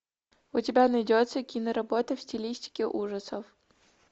у тебя найдется киноработа в стилистике ужасов